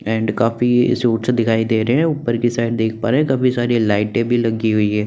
And काफी suits दिखाई दे रहे हैं ऊपर की साइड देख पा रहे है काफी सारी लाइटें लगी हुई है।